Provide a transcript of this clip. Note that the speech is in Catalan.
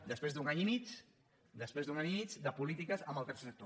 després d’un any i mig després d’un any i mig de polítiques amb el tercer sector